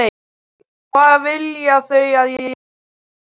Og hvað vilja þau að ég geri fyrir þau?